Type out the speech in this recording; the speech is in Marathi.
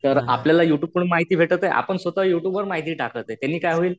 तर आपल्याला यु ट्यूब वरून माहिती भेटत आहे आपण स्वतः यु ट्यूब वर माहिती टाकते त्याने काय होईल